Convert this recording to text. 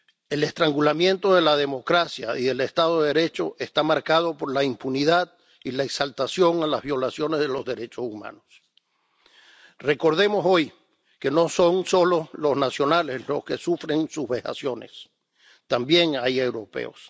El estrangulamiento de la democracia y el Estado de Derecho está marcado por la impunidad y la exaltación de las violaciones de los derechos humanos. Recordemos, hoy, que no son solo los nacionales los que sufren sus vejaciones, también hay europeos.